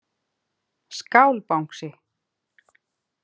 Skál Bangsi.